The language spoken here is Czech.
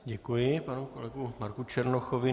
Děkuji panu kolegovi Marku Černochovi.